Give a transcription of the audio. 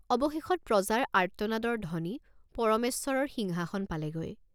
অৱশেষত প্ৰজাৰ আৰ্ত্তনাদৰ ধ্বনি পৰমেশ্বৰৰ সিংহাসন পালেগৈ।